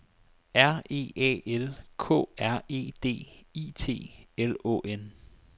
R E A L K R E D I T L Å N